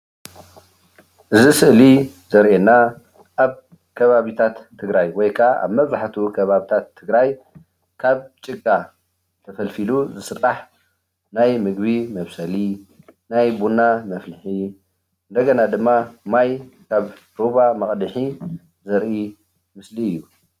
እዚ ስእሊ ዘሪአና ኣብ ከባቢታት ትግራይ ወይ ካኣ ኣብ መብዛሕትኡ ከባቢታት ትግራይ ካብ ጭቃ ተፈልፊሉ ዝስራሕ ናይ ምግቢ መብሰሊ፣ ናይ ቡና መፍልሒ፣ እንደገና ድማ ማይ ካብ ሩባ መቕድሒ ዘርኢ ምሰሊ እዩ።